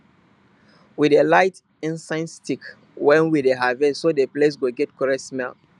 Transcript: we dey light incense stick when we dey harvest so the place go get correct smell